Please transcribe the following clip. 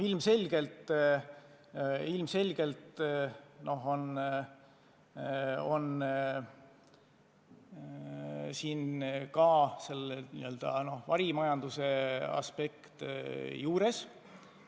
Ilmselgelt on siin ka varimajanduse aspekt juures.